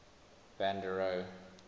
van der rohe